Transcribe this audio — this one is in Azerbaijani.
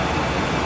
Quraşdırılıb.